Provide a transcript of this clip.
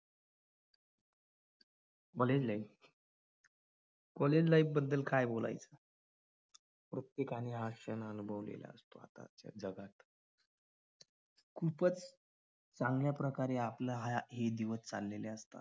college life college life बद्दल काय बोलायचं. प्रत्येकाना अशानं अनुभव येत असतात. खूपच चांगल्या प्रकारे आपले हे दिवस चाललेले आहेत.